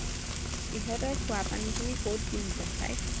ইহঁতৰ খোৱাপানীখিনি কত দিওঁ জেঠাই